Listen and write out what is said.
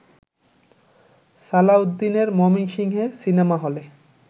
সালাউদ্দিনের ময়মনসিংহে সিনেমা হলে